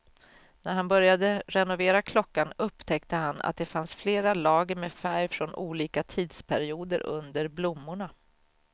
När han började renovera klockan upptäckte han att det fanns flera lager med färg från olika tidsperioder under blommorna.